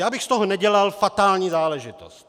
Já bych z toho nedělal fatální záležitost.